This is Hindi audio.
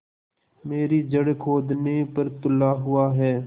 मेरी जड़ खोदने पर तुला हुआ है